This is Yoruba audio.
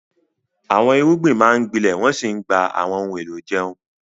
Àwọn irúgbìn máa ń gbilẹ̀ wọ́n sì ń gba àwọn ohun èlò ìjẹun.